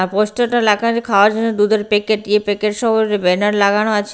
পোস্টারটা লেখা আছে খাওযার জন্য দুধের প্যাকেট ইয়ে প্যাকেট সব ব্যানার লাগানো আছে।